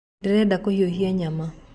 Ndĩrenda kũhĩhia nyama